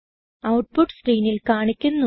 output സ്ക്രീനിൽ കാണിക്കുന്നു